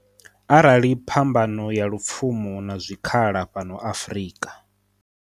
Arali phambano ya lupfumo na zwikhala fhano Afrika.